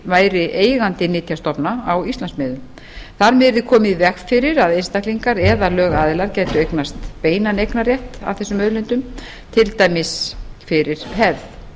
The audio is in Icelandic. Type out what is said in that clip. væri eigandi nytjastofna á íslandsmiðum þar með yrði komið í veg fyrir að einstaklingar eða lögaðilar gætu eignast beinan eignarrétt að þessum auðlindum til dæmis fyrir hefð